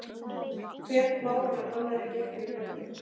Hver plágan af annarri gekk yfir landið.